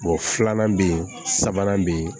filanan bɛ ye sabanan bɛ yen